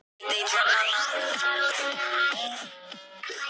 Tinna, hvar er dótið mitt?